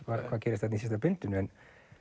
hvað gerist í síðasta bindinu en